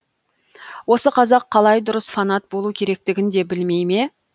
осы қазақ қалай дұрыс фанат болу керектігін де білмей ме